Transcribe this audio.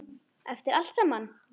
Eftir allt saman.